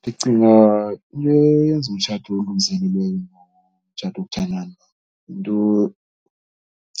Ndicinga into eyenza umtshato olungiselelweyo nomtshato wokuthandana, into